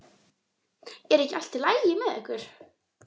Er ekki allt í lagi með ykkur?